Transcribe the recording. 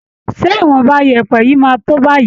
Ṣé ìwọ̀nba yẹ̀ẹ̀pẹ̀ yìí máa tó báyìí